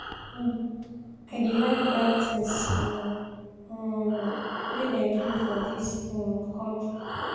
um I dey like buy tins um um wey dem do for dis um country.